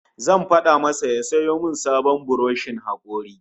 Zan fada masa ya sayo min sabon buroshin hakori